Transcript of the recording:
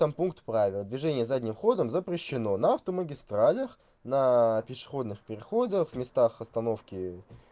там пункт правила движение задним ходом запрещено на автомагистралях на пешеходных переходах в местах остановки